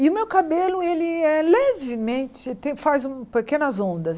E o meu cabelo, ele é levemente, tem faz um pequenas ondas.